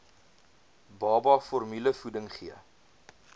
baba formulevoeding gee